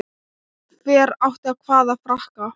Hver átti hvaða frakka?